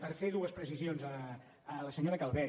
per fer dues precisions a la senyora calvet